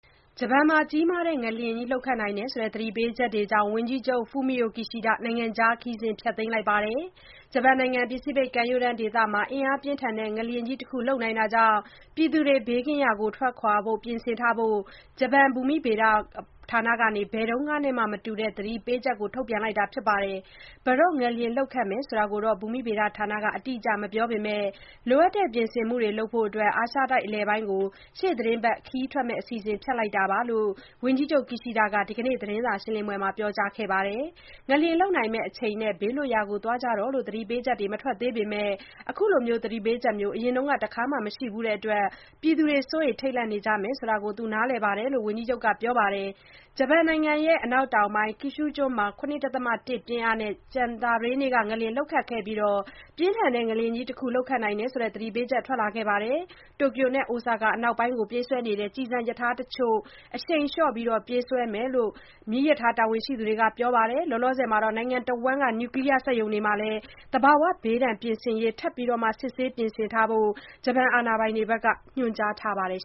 ဂျပန်မှာ ကြီးမားတဲ့ငလျင်လှုပ်နိုင်တယ်ဆိုတဲ့ သတိပေးချက်ကြောင့် ဝန်ကြီးချုပ် Fumio Kishida နိုင်ငံခြား ခရီးစဉ် ဖျက်သိမ်းလိုက်ပါတယ်။ ဂျပန်နိုင်ငံ ပစိဖိတ်ကမ်းရိုးတမ်းဒေသမှာ အင်အားပြင်းထန်တဲ့ ငလျင်ကြီးတခု လှုပ်နိုင်တာကြောင့် ပြည်သူတွေ ဘေးကင်းရာ ထွက်ခွာဖို့ ပြင်ထားဖို့ ဂျပန်ဘူမိဗေဒဌာနက ဘယ်တုန်းကမှနဲ့ မတူတဲ့ သတိပေးမှုထုတ်ပြန်ထားပါတယ်။ ဘယ်တော့ငလျင်လှုပ်ခတ်မယ်ဆိုတာကို ဘူမိဗေဒဌာနက အတိအကျ မပြောပေမဲ့ လိုအပ်တဲ့ ပြင်ဆင်မှုတွေ လုပ်နိုင်ဖို့ အာရှတိုက်အလယ်ပိုင်းကို ရှေ့သီတင်းပတ်ခရီးထွက်မယ့် အစီအစဉ် ဖျက်လိုက်တယ်လို့ ဝန်ကြီးချုပ် Kishida က ဒီနေ့သတင်းစာရှင်းပွဲမှာ ပြောကြားခဲ့ပါတယ်။ ငလျင်လှုပ်နိုင်မယ့်အချိန်နဲ့ ဘေးလွတ်ရာသွားကြဖို့ သတိပေးချက်တွေ မထွက်သေးပေမဲ့ အခုလိုမျိုး သတိပေးချက်မျိုး အရင်တခါမှ မရှိဖူးတဲ့အတွက် ပြည်သူတွေ စိုးရိမ်ထိတ်လန့်နေကြမယ်ဆိုတာ သူ့အနေနဲ့ နားလည်တယ်လို့လည်း ဝန်ကြီးချုပ်က ပြောပါတယ်။ ဂျပန်နိုင်ငံ အနောက်တောင်ပိုင်းက Kyushu ကျွန်းမှာ ၇.၁ ပြင်းအားနဲ့ ကြာသပတေးနေ့က ငလျင် လှုပ်ခတ်ခဲ့ပြီးနောက် ပြင်းထန်တဲ့ငလျင်ကြီးတခု လှုပ်ခတ်နိုင်တယ်ဆိုတဲ့ သတိပေးချက်ထွက်လာခဲ့တာပါ။ Tokyo နဲ့ Osaka အနောက်ပိုင်းကိုပြေးဆွဲတဲ့ ကျည်ဆံရထားတချို့ကို အရှိန်လျှော့ပြေးဆွဲနေတယ်လို့ မီးရထားတာဝန်ရှိသူတွေက ပြောပါတယ်။ သီတင်းတပတ်လောက် သတိထားပြီး အရှိန်လျှော့ပြေးဆွဲမယ်လို့ ပြောထားပါတယ်။ နိုင်ငံတဝန်း Nuclear စက်ရုံတွေမှာလည်း သဘာဝဘေးဒဏ် ပြင်ဆင်ရေးတွေကို ထပ်မံစစ်ဆေးပြင်ဆင်ထားဖို့ အာဏာပိုင်တွေ ညွှန်ကြားထားပါတယ်